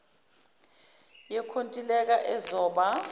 yenkontilela ezoba r